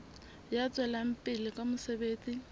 ya tswelang pele ka mosebetsi